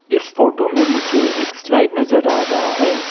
इस फोटो में मुझे एक स्लाइड नजर आ रहा है।